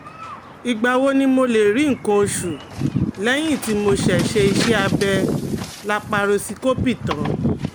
Ìgbà wo ni mo lè rí nǹkan oṣù lẹ́yìn tí mo ṣe iṣẹ́ abẹ laparosíkópì tán?